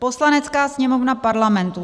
Poslanecká sněmovna Parlamentu